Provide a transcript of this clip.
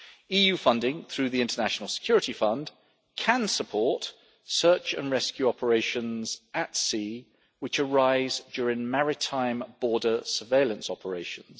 EU funding through the International Security Fund can support search and rescue operations at sea which arise during maritime border surveillance operations.